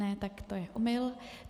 Ne, tak to je omyl.